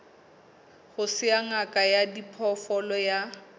ya ngaka ya diphoofolo ya